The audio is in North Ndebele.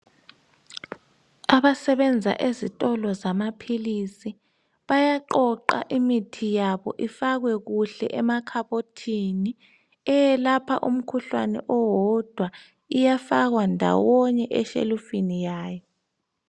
Abasebenza ezitolo zamaphilisi bayaqoqa imithi yabo ifakwe kuhle emakhabothini. Eyelapha umkhuhlane owodwa iyafakwa ndawonye eshelufini yayo.